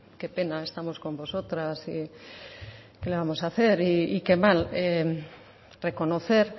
qué pena estamos con vosotros y qué le vamos a hacer y qué mal reconocer